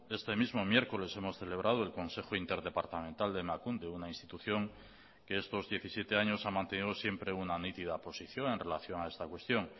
este mismo miércoles hemos celebrado el consejo interdepartamental de emakunde una institución que estos diecisiete años ha mantenido siempre una nítida posición en relación a esta cuestión